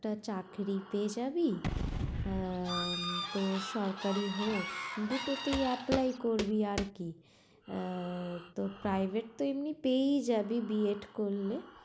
তা চাকরি পেয়ে যাবি আহ তো সরকারি হোক দুটোতেই apply আরকি, আহ তো privet তো এমনি পেয়েই যাবি বি এড করলে